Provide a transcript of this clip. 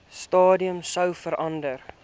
stadium sou verander